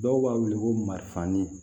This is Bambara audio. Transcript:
Dɔw b'a weele ko mariannin